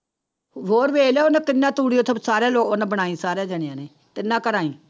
ਹੋਰ ਵੇਖ ਲਾ ਉਹਨੇ ਕਿੰਨਾ ਤੂੜੀ ਉੱਥੇ ਸਾਰਿਆਂ ਉਹਨੇ ਬਣਾਈ ਸਾਰਿਆਂ ਜਾਣਿਆਂ ਨੇ ਤਿੰਨਾਂ ਘਰਾਂ ਹੀ